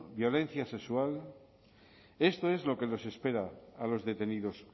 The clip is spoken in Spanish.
violencia sexual esto es lo que les espera a los detenidos